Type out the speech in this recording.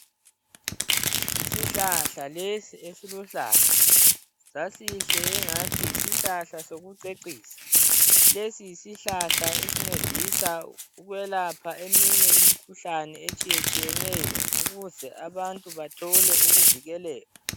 Isihlahla lesi esiluhlaza. Sasihle engathi yisihlahla sokucecisa. Lesi yisihlahla esincedisa ukwelapha imikhuhlane eminye etshiyetshiyeneyo, ukuze abantu bathole ukuvikeleka.